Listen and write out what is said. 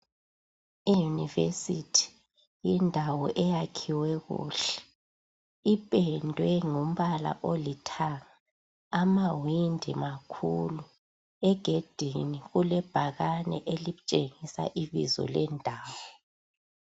Iuniversity yindawo eyakhiwe kuhle ipendwe ngombala olithanga amawindi makhulu egedini kulebhakani elitshengisa ibizo lendawo